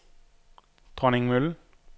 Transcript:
Dronningmølle